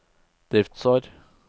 driftsår